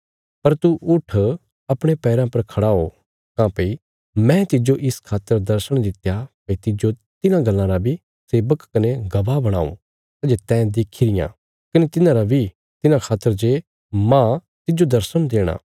पर तू उट्ठ अपणे पैराँ पर खड़ा हो काँह्भई मैं तिज्जो इस खातर दर्शण दित्या भई तिज्जो तिन्हां गल्लां रा बी सेवक कने गवाह बणाऊं सै जे तैं देखी रियां कने तिन्हांरा बी तिन्हां खातर जे मांह तिज्जो दर्शण देणा